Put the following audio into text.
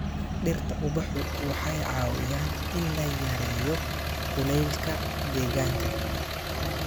Dhirta ubaxu waxay caawiyaan in la yareeyo kuleylka deegaanka.